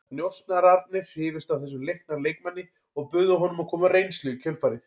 Njósnararnir hrifust af þessum leikna leikmanni og buðu honum að koma á reynslu í kjölfarið.